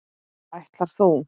Ætlar þú.